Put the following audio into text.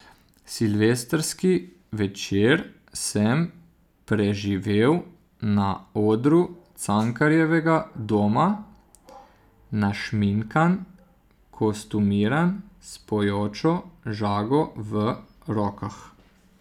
Silvestrski večer sem preživel na odru Cankarjevega doma, našminkan, kostumiran, s pojočo žago v rokah.